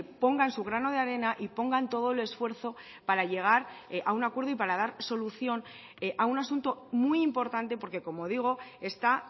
pongan su grano de arena y pongan todo el esfuerzo para llegar a un acuerdo y para dar solución a un asunto muy importante porque como digo está